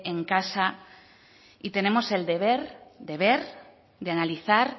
en casa y tenemos el deber de ver de analizar